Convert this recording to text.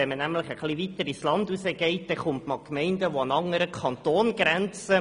Geht man ein bisschen weiter ins Land hinaus, stösst man auf Gemeinden, die an einen anderen Kanton grenzen.